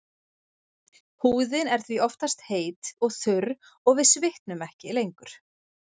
Húðin er því oftast heit og þurr og við svitnum ekki lengur.